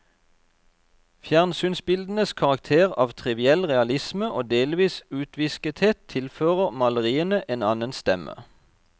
Fjernsynsbildenes karakter av triviell realisme og delvis utviskethet, tilfører maleriene en annen stemme.